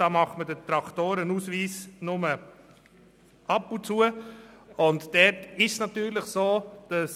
Da wird der Traktorenausweis nur gelegentlich erworben.